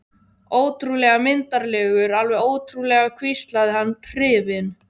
Ótrúlega myndarlegur, alveg ótrúlega hvíslaði hann hrifinn.